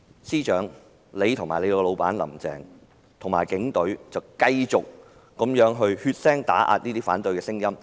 司長及他的老闆"林鄭"和警隊卻繼續血腥打壓反對的聲音。